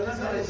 Bağlıdır.